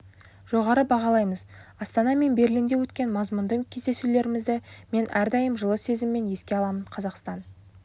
жоғары бағалаймыз астана мен берлинде өткен мазмұнды кездесулерімізді мен әрдайым жылы сезіммен еске аламын қазақстан